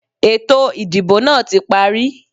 Ètò ìdìbò náà tí parí.